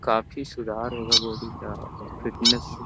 काफी सुधार होगा बॉडी का और फिटनेस --